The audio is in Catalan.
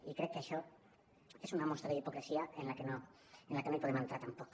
i crec que això és una mostra d’hipocresia en la que no hi podem entrar tampoc